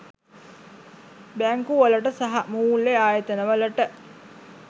බැංකු වලට සහ මූල්‍ය ආයතන වලට